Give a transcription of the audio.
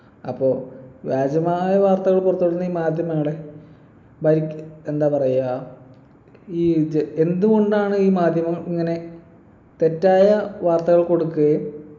അപ്പൊ വ്യാജമായ വാർത്തകൾ പുറത്തു വിടുന്ന ഈ മാധ്യമങ്ങളെ ഭരിക് എന്താ പറയാ ഈ ഇത് എന്തുകൊണ്ടാണ് ഈ മാധ്യമം ഇങ്ങനെ തെറ്റായ വാർത്തകൾ കൊടുക്കുകയും